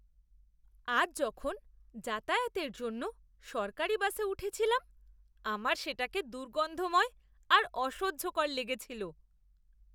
আজ যখন যাতায়াতের জন্য সরকারী বাসে উঠেছিলাম, আমার সেটাকে দুর্গন্ধময় আর অসহ্যকর লেগেছিল!